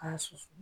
K'a susu